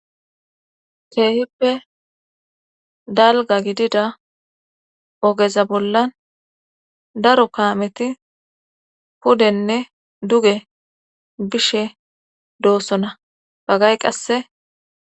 keehippe dalga gidida ogeza bollan daro kaameti pudenne duge bishe doossona pagay qasse